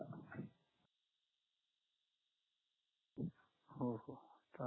हो का